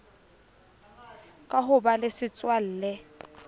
ka ho ba le setswalle